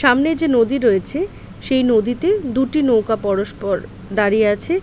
সামনে যে নদী রয়েছে সেই নদীতে দুটি নৌকা পরস্পর দাঁড়িয়ে আছে-এ।